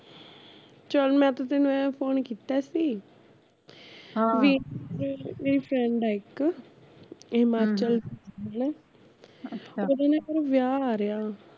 ਚੱਲ ਮੈਂ ਤਾਂ ਤੈਨੂੰ ਐ phone ਕੀਤਾ ਸੀ ਵੀ ਮੇਰੀ friend ਆ ਇੱਕ ਹਿਮਾਚਲ ਉਹਦੇ ਨਾ ਘਰੇ ਵਿਆਹ ਆ ਰਿਹਾ